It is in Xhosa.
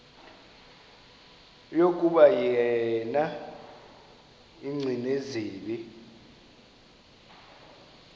yokuba yena gcinizibele